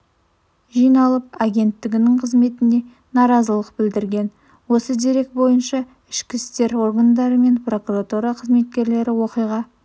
жиналып агенттігінің қызметіне наразылық білдірген осы дерек бойынша ішкі істер органдары мен прокуратура қызметкерлері оқиға